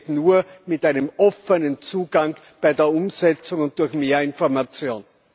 Das geht nur mit einem offenen Zugang bei der Umsetzung und durch mehr Information.